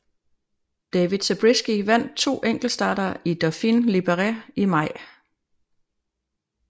David Zabriskie vandt to enkeltstarter i Dauphiné Libéré i maj